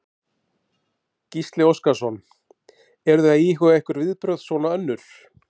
Gísli Óskarsson: Eruð þið að íhuga einhver viðbrögð svona önnur?